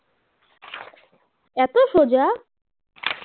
এত সোজা